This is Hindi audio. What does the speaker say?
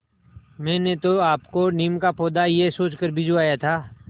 मैंने तो आपको नीम का पौधा यह सोचकर भिजवाया था